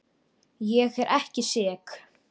Ég er ekki sek.